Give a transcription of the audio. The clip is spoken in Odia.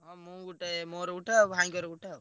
ହଁ ମୁଁ ଗୋଟେ ମୋର ଗୋଟେ ଆଉ ଭାଇଙ୍କର ଗୋଟେ ଆଉ।